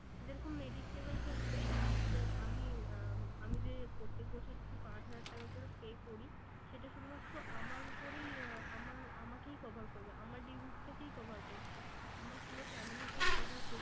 যেরকম mediclaim এর ক্ষেত্রে যে আমি আহ আমি যে প্রত্যেক বছর যদি পাঁচ হাজার টাকা করে pay করি সেটা শুধু মাত্র আমার উপরেই আহ আমার, আমাকেই cover করবে। আমার disease টাকেই cover করছে। আমার পুরো family কে cover